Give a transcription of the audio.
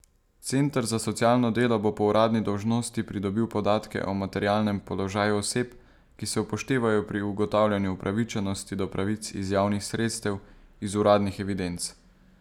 Center za socialno delo bo po uradni dolžnosti pridobil podatke o materialnem položaju oseb, ki se upoštevajo pri ugotavljanju upravičenosti do pravic iz javnih sredstev, iz uradnih evidenc.